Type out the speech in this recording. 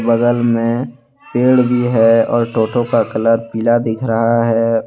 बगल में पेड़ भी है और टोटो का कलर पीला दिख रहा है।